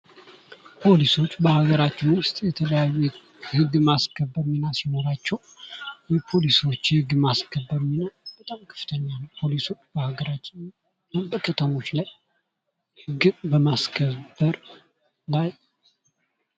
ፖሊሶች በሀገራችን ውስጥ የተለያዩ ህግን የማስከበር ሚና ሲኖራቸው የፖሊሶች ህግ የማስከበር ሚና በጣም ከፍተኛ ነው። ፖሊሶች በሀገራችን እና በከተሞች ላይ ህግን በማስከበር ላይ